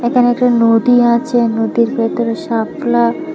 এখানে একটা নদী আছে নদীর ভিতরে শাপলা--